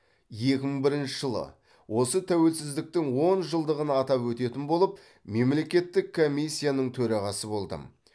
екі мың бірінші жылы осы тәуелсіздіктің он жылдығын атап өтетін болып мемлекеттік комиссияның төрағасы болдым